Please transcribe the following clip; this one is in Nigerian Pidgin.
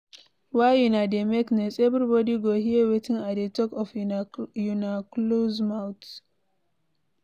Why una dey make noise, everybody go hear wetin I dey talk of una close mouth.